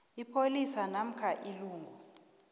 ipholisa namkha ilungu